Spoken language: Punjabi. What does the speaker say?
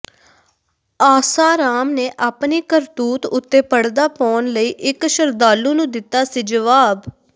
ਆਸਾਰਾਮ ਨੇ ਆਪਣੀ ਕਰਤੂਤ ਉੱਤੇ ਪਰਦਾ ਪਾਉਣ ਲਈ ਇਕ ਸ਼ਰਧਾਲੂ ਨੂੰ ਦਿੱਤਾ ਸੀ ਜਵਾਬ